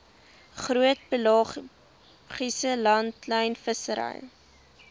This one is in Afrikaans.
groot pelagiese langlynvissery